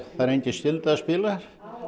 engin skylda að spila